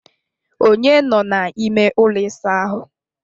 Onye nọ n'ime ụlọ ịsa ahụ?